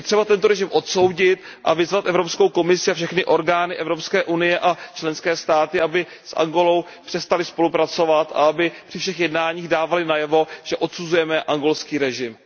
Je třeba tento režim odsoudit a vyzvat Evropskou komisi a všechny orgány Evropské unie a členské státy, aby s Angolou přestaly spolupracovat a aby při všech jednáních dávaly najevo, že odsuzujeme angolský režim.